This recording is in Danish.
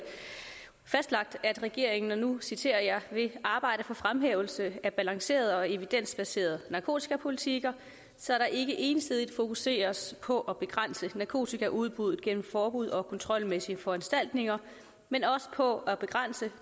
fastlagt at regeringen og nu citerer jeg vil arbejde for fremhævelse af balancerede og evidensbaserede narkotikapolitikker så der ikke ensidigt fokuseres på at begrænse narkotikaudbuddet gennem forbud og kontrolmæssige foranstaltninger men også på at begrænse